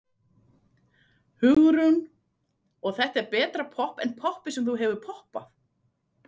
Hugrún: Og er þetta betra popp en poppið sem þú hefur poppað?